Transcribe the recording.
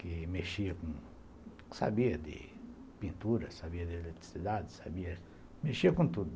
que mexia com sabia de pintura, sabia de eletricidade, sabia, mexia com tudo.